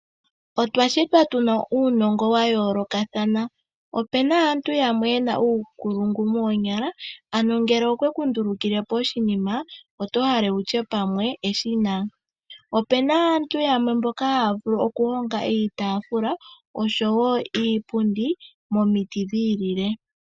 Otwa shitwa tuna uunongo wa yoolokathana. Opuna aantu yamwe yena uunkulungu moonyala ano ngele okweku ndulukile po oshinima oto hale wutye eshina. Opuna aantu yamwe mboka haya vuku oku honga iitaafula oshowo iipundi momiti wo dhi ilile.